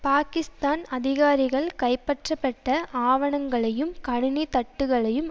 பாகிஸ்தான் அதிகாரிகள் கைப்பற்றப்பட்ட ஆவனங்களையும் கணினி தட்டுக்களையும்